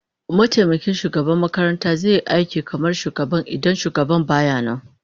Mataimakin shugaban makaranta zai yi aiki kamar shugaban idan shugaban baya nan